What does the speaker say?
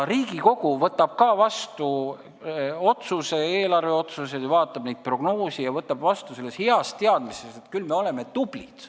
Riigikogu vaatab prognoose ja võtab vastu ka eelarvelised otsused selles heas teadmises, et küll me oleme tublid.